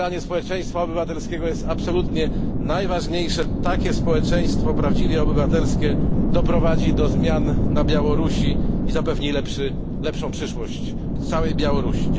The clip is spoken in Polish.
Wspieranie społeczeństwa obywatelskiego jest absolutnie najważniejsze, takie społeczeństwo prawdziwie obywatelskie doprowadzi do zmian na Białorusi i zapewni lepszą przyszłość całej Białorusi.